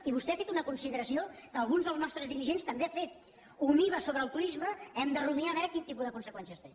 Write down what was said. i vostè ha fet una consideració que alguns dels nostres dirigents també han fet un iva sobre el turisme hem de rumiar a veure quin tipus de conseqüències té